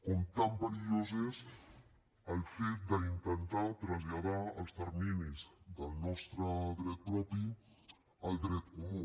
com perillós és el fet d’intentar traslladar els terminis del nostre dret propi al dret comú